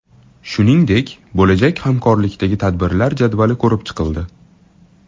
Shuningdek, bo‘lajak hamkorlikdagi tadbirlar jadvali ko‘rib chiqildi.